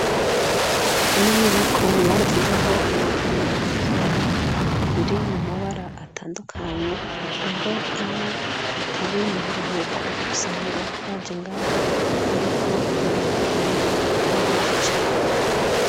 Ino nyubako barasizeho ibikonisho vy'abana, biri mumabara atandukanye, rero iyo atari mu buruhuko, usanga baje ngaha, bariko barahakinira ari benshi cane.